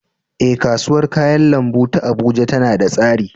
Eh, kasuwar kayan lambu ta Abuja tana da tsari